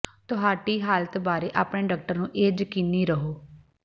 ਤੁਹਾਡੀ ਹਾਲਤ ਬਾਰੇ ਆਪਣੇ ਡਾਕਟਰ ਨੂੰ ਇਹ ਯਕੀਨੀ ਰਹੋ